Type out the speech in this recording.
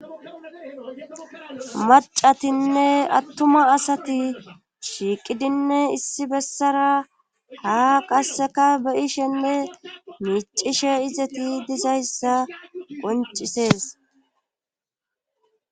Macatinne attuma asati shiiqidinne issi bessara ha qasseka beyishenne miicishe izeti dizayssa qoncisees.